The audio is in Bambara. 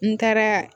N taara